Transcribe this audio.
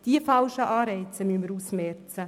Diese falschen Anreize müssen wir ausmerzen.